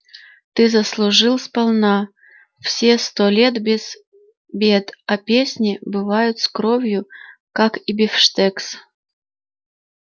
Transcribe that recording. ты заслужил сполна все сто лет без бед а песни бывают с кровью как и бифштекс